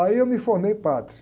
Aí eu me formei padre.